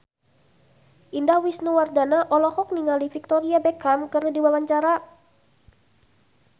Indah Wisnuwardana olohok ningali Victoria Beckham keur diwawancara